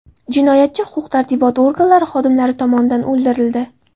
Jinoyatchi huquq-tartibot organlari xodimlari tomonidan o‘ldirildi.